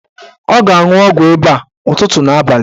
Ọ ga-anwụ ọgwụ ịba a ụtụtụ na abalị